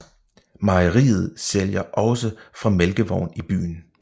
Mejeriet sælger også fra mælkevogn i byen